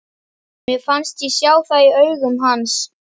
Mér fannst ég sjá það í augum hans.